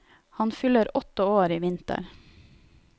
Han fyller åtte år i vinter.